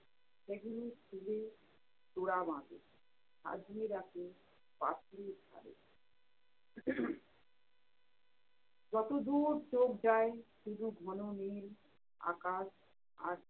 সেগুলো ফুলের তোড়া বাঁধে, সাজিয়ে রাখে পাঁচিলের ধারে যতদূর চোখ যায় শুধু ঘন নীল আকাশ আর